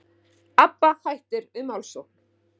Abba hættir við málssókn